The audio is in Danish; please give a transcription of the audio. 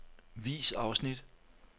Vis afsnit.